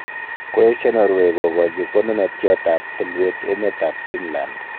Koesio Norway kogochi konunotiot ab tulwet emet ab Finland.